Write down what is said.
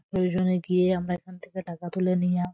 প্রয়োজনে গিয়ে আমরা এখান থেকে টাকা তুলে আ--